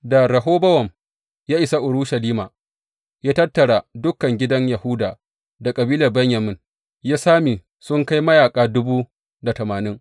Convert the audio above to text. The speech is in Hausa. Da Rehobowam ya isa Urushalima, ya tattara dukan gidan Yahuda da kabilar Benyamin, ya sami sun kai mayaƙa dubu da tamanin.